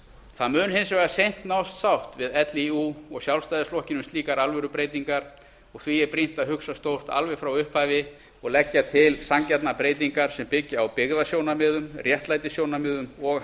það mun hins vegar seint nást sátt við líú og sjálfstæðisflokkinn um slíkar alvörubreytingar og því er brýnt að hugsa stórt alveg frá upphafi og leggja til sanngjarnar breytingar sem byggja á byggðasjónarmiðum réttlætissjónarmiðum og